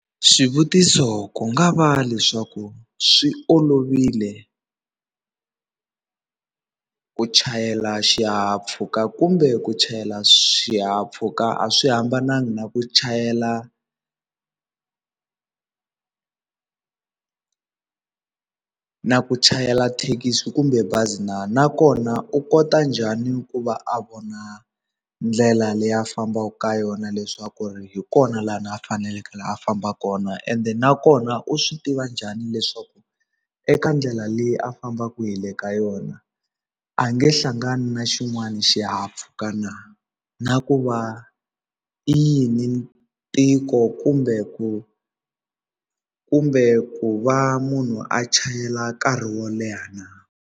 Swivutiso ku nga va leswaku swi olovile ku chayela xihahampfhuka kumbe ku chayela swihahampfhuka a swi hambanangi na ku chayela na ku chayela thekisi kumbe bazi na nakona u kota njhani ku va a vona ndlela leyi a fambaka ka yona leswaku ri hi kona laha na a faneleke a famba kona ende nakona u swi tiva njhani leswaku eka ndlela leyi a fambaka hi le ka yona a nge hlangani na xin'wana xihahampfuka na na ku va i yini tiko kumbe ku kumbe ku va munhu a chayela nkarhi wo leha.